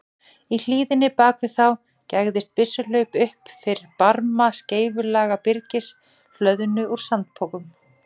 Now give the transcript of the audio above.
Í hlíðinni bak við þá gægðist byssuhlaup upp fyrir barma skeifulaga byrgis, hlöðnu úr sandpokum.